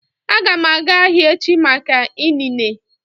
Aga m aga ahịa echi maka inine